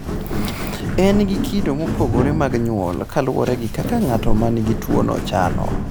En gi kido mopogore mag nyuol kaluwore gi kaka ng'at ma nigi tuwono chalo.